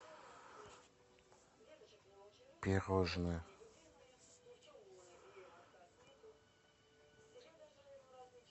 пирожное